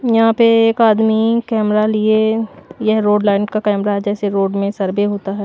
यहां पे एक आदमी कैमरा लिए यह रोड लाइन का कैमरा है जैसे रोड में सर्वे होता है।